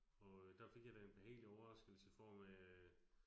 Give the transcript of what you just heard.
Og øh der fik jeg da en behagelig overraskelse form af